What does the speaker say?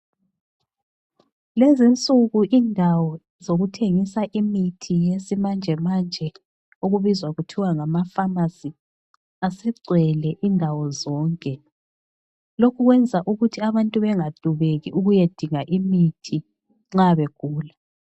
Lezinsuku indawo zokuthengisa imithi yesimanjemanje okubizwa kuthiwa ngamafamasi asegcwele indawo zonke. Lokhu kwenza ukuthi abantu bangadubeki ukuyadinga imithi nxa begula.